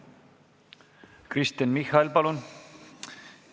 Kristen Michal, palun!